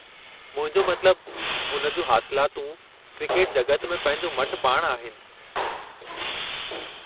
मुंहिंजो मतिलबु, हुन जूं हासिलातूं क्रिकेट जॻत में पंहिंजो मटि पाणि आहिनि।